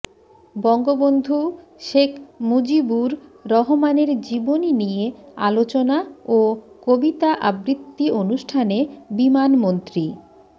বঙ্গবন্ধু শেখ মুজিবুর রহমানের জীবনী নিয়ে আলোচনা ও কবিতা আবৃত্তি অনুষ্ঠানে বিমানমন্ত্রী